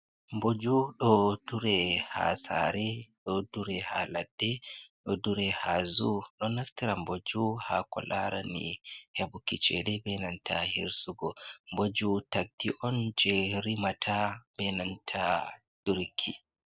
Mboju ɗo dure ha saare, ɗo dure ha ladde ɗo dure ha zuu, ɗo naftira mboju ha ko larani heɓuki ceede be nanta hirsugo, mboju takdi on jei rimata be nanta durki.